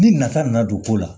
Ni nata nana don ko la